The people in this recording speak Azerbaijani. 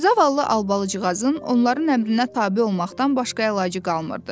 Zavallı Albalıcıqazın onların əmrinə tabe olmaqdan başqa əlacı qalmırdı.